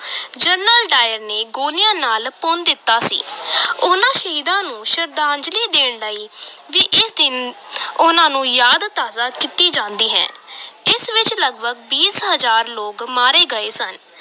General Dyer ਨੇ ਗੋਲੀਆਂ ਨਾਲ ਭੁੰਨ ਦਿੱਤਾ ਸੀ ਉਨ੍ਹਾਂ ਸ਼ਹੀਦਾਂ ਨੂੰ ਸ਼ਰਧਾਂਜਲੀ ਦੇਣ ਲਈ ਵੀ ਇਸ ਦਿਨ ਉਨ੍ਹਾਂ ਨੂੰ ਯਾਦ ਤਾਜ਼ਾ ਕੀਤੀ ਜਾਂਦੀ ਹੈ ਇਸ ਵਿਚ ਲਗਪਗ ਵੀਹ ਹਜ਼ਾਰ ਲੋਕ ਮਾਰੇ ਗਏ ਸਨ।